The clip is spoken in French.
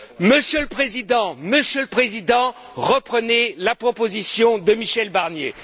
Monsieur le Président, reprenez la proposition de Michel Barnier.